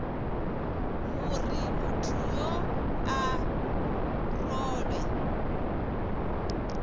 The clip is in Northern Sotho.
gore motho yoo a rolwe